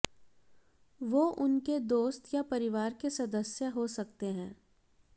वो उनके दोस्त या परिवार के सदस्य हो सकते हैं